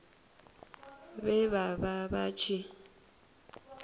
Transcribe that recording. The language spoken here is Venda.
vhe vha vha vha tshi